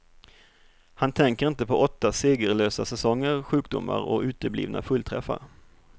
Han tänker inte på åtta segerlösa säsonger, sjukdomar och uteblivna fullträffar.